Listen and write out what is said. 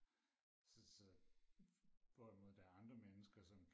så så hvorimod der er andre mennesker som